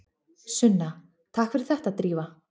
Sunna: Takk fyrir þetta Drífa.